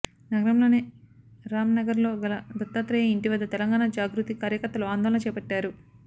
నగరంలోని రాంనగర్లో గల దత్తాత్రేయ ఇంటి వద్ద తెలంగాణ జాగృతి కార్యకర్తలు ఆందోళన చేపట్టారు